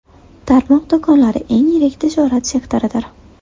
Tarmoq do‘konlari eng yirik tijorat sektoridir.